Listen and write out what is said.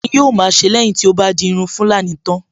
Kíni yóò ma a ṣe lẹ́yìn tí ó bá di irun tulani tán?